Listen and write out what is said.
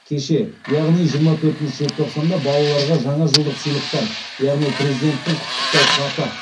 кеше яғни жиырма төртінші желтоқсанда балаларға жаңа жылдық сыйлықтар яғни президенттің құттықтау хаты